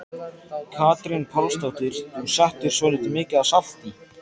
Katrín Pálsdóttir: Þú settir svolítið mikið af salti?